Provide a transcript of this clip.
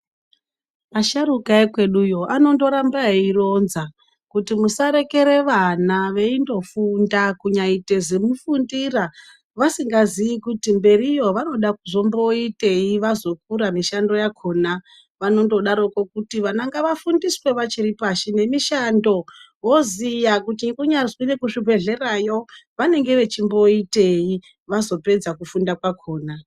Asharukwa vekweduyo vanondoramba veironza kuti musarekere vana veindofunda kunyaite zimufundira ,vasingazi kuti mberiyo vanoda kuzomboitei vazokura mishando yakona .Vanondodaroko kuti vana ngavafundiswe vachiripashi nemishando voziya kuti kunyanzwi rekuchibhehlera vanenge vechimboitei vazopedza kufunda kwakona.